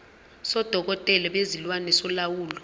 sodokotela bezilwane solawulo